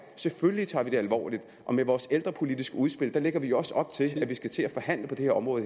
selvfølgelig tager det alvorligt og med vores ældrepolitiske udspil lægger vi også op til at vi skal til at forhandle på det her område